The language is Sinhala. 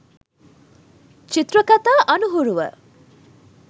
චිත්‍රකතා අනුහුරුව